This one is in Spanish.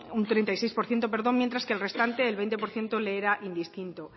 un treinta y seis por ciento perdón mientras que al restante veinte por ciento le era indistinto